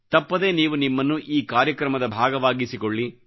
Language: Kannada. ತಪ್ಪದೆ ನೀವು ನಿಮ್ಮನ್ನು ಈ ಕಾರ್ಯಕ್ರಮದ ಭಾಗವಾಗಿಸಿಕೊಳ್ಳಿ